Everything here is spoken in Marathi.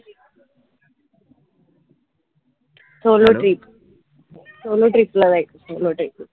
solotrip solo trip ला जायचय solo trip ला